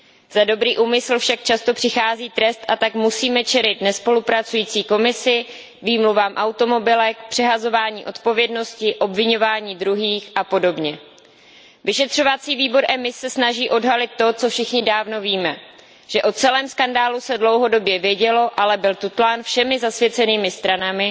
Za dobrý úmysl však často přichází trest, a tak musíme čelit nespolupracující Komisi, výmluvám automobilek, přehazování odpovědnosti, obviňování druhých apod. Vyšetřovací výbor EMIS se snaží odhalit to, co už všichni dávno víme, že o celém skandálu se dlouhodobě vědělo, ale byl tutlán všemi zasvěcenými stranami.